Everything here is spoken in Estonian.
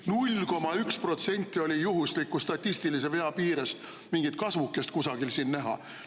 0,1% oli juhusliku statistilise vea piires mingit kasvukest kusagil näha.